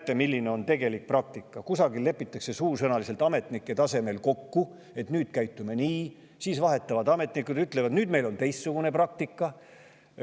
Näete, milline on tegelik praktika: lepitakse ametnike seas kusagil suusõnaliselt kokku, et nüüd käitume nii, siis ametnikud vahetuvad ja ütlevad, et nüüd on meil teistsugune praktika.